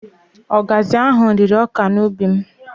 Ọgazị ahụ rịrị ọka n'ubi m